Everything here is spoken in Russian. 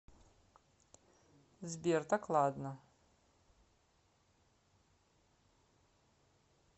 сбер так ладно